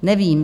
Nevím.